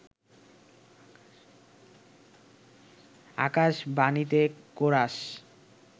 আকাশবাণীতে chorus